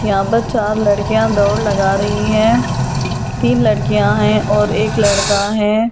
यहां पर चार लड़कियां दौड़ लगा रही हैं तीन लड़कियां हैं और एक लड़का हैं।